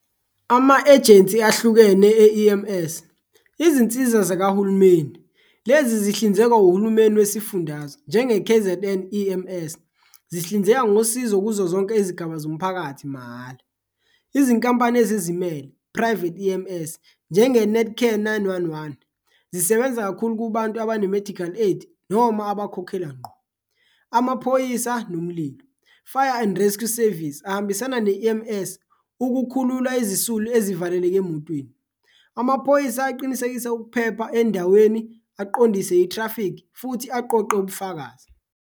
Ama-ejensi ahlukene e-E_M_S izinsiza zakahulumeni, lezi zihlinzekwa uhulumeni wesifundazwe njenge-K_Z_N E_M_S zihlinzeka ngosizo kuzo zonke izigaba zomphakathi mahhala. Izinkampani ezizimele, private E_M_S njenge-Netcare, nine-one-one zisebenza kakhulu kubantu abane-medical aid noma abakhokhela ngqo. Amaphoyisa nomlilo, fire and rescue service ahambisana ne-E_M S ukukhulula izisulu ezivaleleke emotweni, amaphoyisa aqinisekisa ukuphepha endaweni, aqondise i-traffic futhi aqoqe ubufakazi.